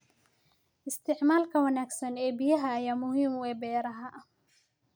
Isticmaalka wanaagsan ee biyaha ayaa muhiim u ah beeraha.